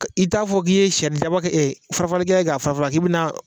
Ka i t'a fɔ k'i ye saridaba kɛ ɛ farafaralikɛla k'a fara fara k'i bɛ na